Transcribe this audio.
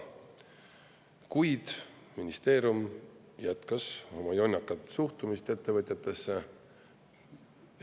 Kuid ministeerium jätkas oma jonnakat suhtumist ettevõtjatesse.